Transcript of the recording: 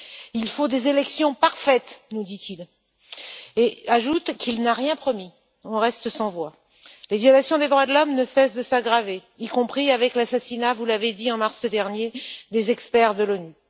Il faut des élections parfaites, nous dit il, et ajoute qu'il n'a rien promis. Nous restons sans voix. Les violations des droits de l'homme ne cessent de s'aggraver, y compris avec l'assassinat, vous l'avez dit, en mars dernier, des experts de l'ONU.